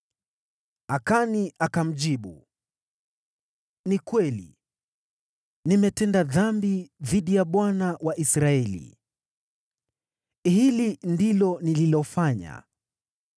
Akani akamjibu Yoshua, “Ni kweli! Nimetenda dhambi dhidi ya Bwana , Mungu wa Israeli. Hili ndilo nililofanya: